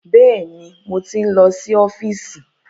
Bẹ́ẹ̀ni, mo ti ń lọ sí ọ́fíìsì.